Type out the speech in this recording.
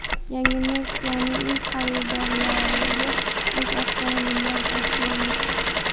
Yangi Nexia’ning ilk xaridorlariga o‘z avtomobillari topshirildi.